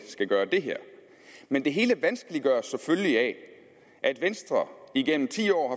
skal gøre det her men det hele vanskeliggøres selvfølgelig af at venstre igennem ti år